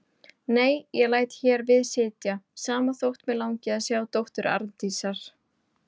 Nei, ég læt hér við sitja, sama þótt mig langi að sjá dóttur Arndísar.